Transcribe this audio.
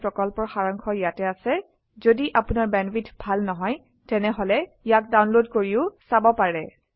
কথন শিক্ষণ প্ৰকল্পৰ সাৰাংশ ইয়াত আছে যদি আপোনাৰ বেণ্ডৱিডথ ভাল নহয় তেনেহলে ইয়াক ডাউনলোড কৰি চাব পাৰে